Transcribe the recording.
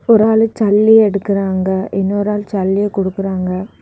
ஒரு ஆளு ஜல்லி எடுக்குறாங்க இன்னொரு ஆளு ஜல்லி குடுக்கறாங்க.